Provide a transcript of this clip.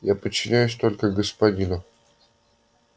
я подчиняюсь только господину